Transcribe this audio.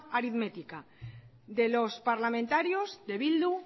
aritmética de los parlamentarios de bildu